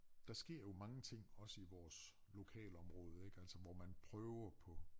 Der sker jo mange ting også i vores lokalområde ik altså hvor man prøver på